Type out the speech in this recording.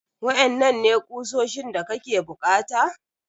Waƴanannan ne kuoshin da kake bukata?